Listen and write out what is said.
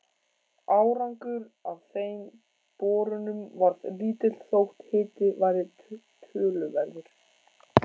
Árangur af þeim borunum varð lítill þótt hiti væri töluverður.